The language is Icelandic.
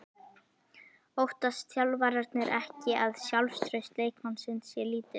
Óttast þjálfararnir ekki að sjálfstraust leikmannsins sé lítið?